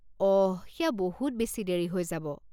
অহ, সেয়া বহুত বেছি দেৰি হৈ যাব।